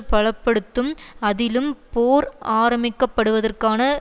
பல படுத்தும் அதிலும் போர் ஆரம்பிக்கப்படுவதற்கான